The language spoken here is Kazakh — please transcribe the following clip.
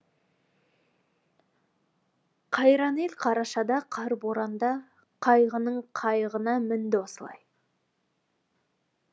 қайран ел қарашада қар боранда қайғының қайығына мінді осылай